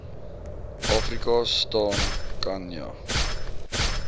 afrika staan khanya